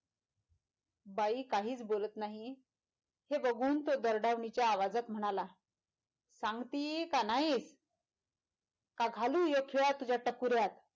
बाई काहीच बोलत नाही हे बघून तो दरडावणीच्या आवाजात म्हणाला सांगती का न्हायी का घालू ह्यो खिळा तुझ्या टकुर्यात?